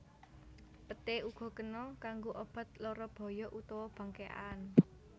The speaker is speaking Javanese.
Peté uga kena kanggo obat lara boyok utawa bangkékan